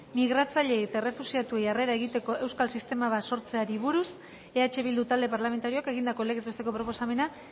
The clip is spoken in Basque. migratzaileei eta errefuxiatuei harrera egiteko euskal sistema bat sortzeari buruz eh bildu talde parlamentarioak egindako legez besteko proposamena